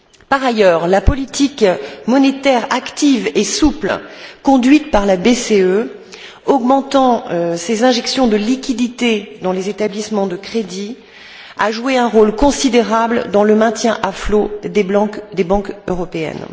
Par ailleurs, la politique monétaire active et souple conduite par la BCE, augmentant ses injections de liquidités dans les établissements de crédit, a joué un rôle considérable dans le maintien à flot des banques européennes.